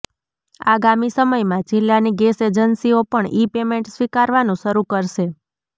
આગામી સમયમાં જિલ્લાની ગેસ એજન્સીઓ પણ ઈ પેમેન્ટ સ્વીકારવાનું શરૂ કરશે